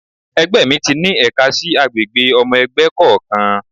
Ẹgbẹ́ mi ti ní ẹ̀ka sí àgbègbè ọmọ ẹgbẹ́ kọ̀ọ̀kan.